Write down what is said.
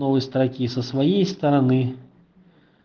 новые строки со своей стороны